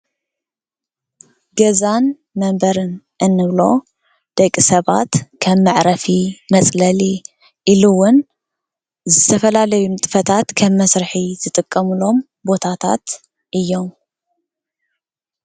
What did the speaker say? ገዛን መንበሪን እንብሎ ደቂ ሰባት ከም መዕረፊ መፅለሊ ኢሉ እውን ንዝተፈላለዩ ንጥፈታት ከም መስርሒ ዝጥቀምሎም ቦታታት እዮም።